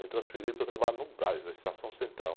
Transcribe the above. Me transferiram para eu trabalhar no Brás, na extração central.